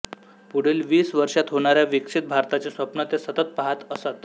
पुढील वीस वर्षांत होणाऱ्या विकसित भारताचे स्वप्न ते सतत पाहत असत